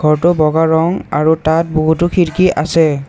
ঘৰটো বগা ৰং আৰু তাত বহুতো খিৰকী আছে।